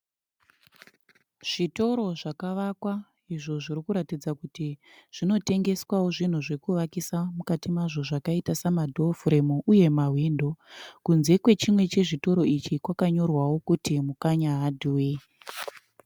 Zvitoro zvakavakwa izvo zviri kuratidza kuti zvinotengeswao zvinhu zvokuvakisa mukati mazvo zvakaita sama dhofuremu uye ma hwindo. Kunze kwechimwe chezvitoro ichi kwakanyorwao kuti "Mukanya hardware".